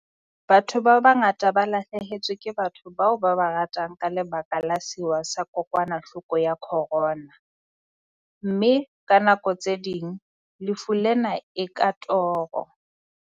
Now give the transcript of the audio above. Batho ba bangata ba lahlehetswe ke batho bao ba ba ratang ka lebaka la sewa sa kokwanahloko ya khorona, mme ka nako tse ding lefu lena e ka toro.